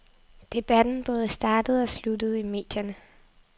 Debatten både startede og sluttede i medierne.